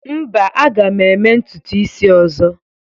Mba, a ga m eme ntutu isi ọzọ?